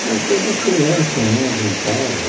Como toda criança né, brincava.